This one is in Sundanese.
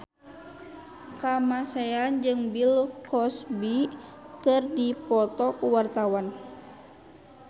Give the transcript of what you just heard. Kamasean jeung Bill Cosby keur dipoto ku wartawan